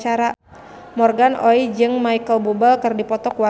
Morgan Oey jeung Micheal Bubble keur dipoto ku wartawan